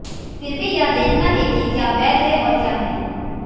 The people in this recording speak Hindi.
फिर भी यह देखना है कि क्या वैध है और क्या नहीं